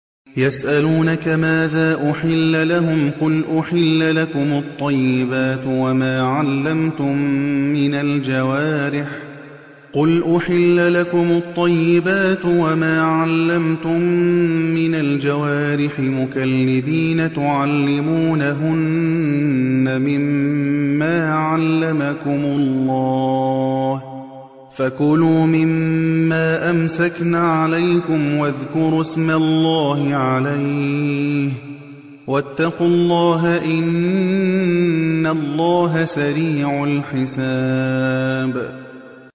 يَسْأَلُونَكَ مَاذَا أُحِلَّ لَهُمْ ۖ قُلْ أُحِلَّ لَكُمُ الطَّيِّبَاتُ ۙ وَمَا عَلَّمْتُم مِّنَ الْجَوَارِحِ مُكَلِّبِينَ تُعَلِّمُونَهُنَّ مِمَّا عَلَّمَكُمُ اللَّهُ ۖ فَكُلُوا مِمَّا أَمْسَكْنَ عَلَيْكُمْ وَاذْكُرُوا اسْمَ اللَّهِ عَلَيْهِ ۖ وَاتَّقُوا اللَّهَ ۚ إِنَّ اللَّهَ سَرِيعُ الْحِسَابِ